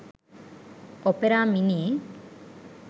opera mini